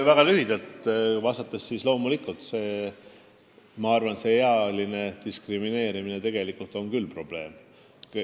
Väga lühidalt vastates: muidugi ma arvan, et ealine diskrimineerimine on tegelikult probleem.